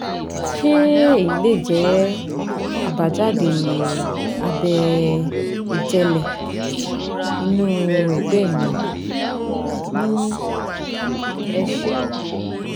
ṣé èyí lè jẹ́ àbájáde abẹ́ ìjẹ́lẹ̀ inú ẹ̀gbẹ́ mi mi ni? ẹ se